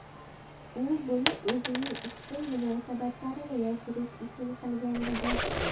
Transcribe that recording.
U buni o‘zining ishqiy munosabatlarini yashirish uchun qilgan edi.